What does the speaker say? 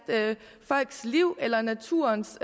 folks liv på eller naturens